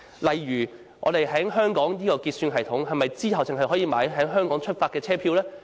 例如在香港的結算系統，我們是否只可購買由香港出發的車票呢？